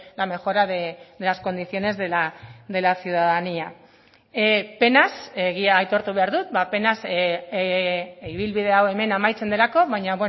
la mejora de las condiciones de la ciudadanía penaz egia aitortu behar dut penaz ibilbide hau hemen amaitzen delako baina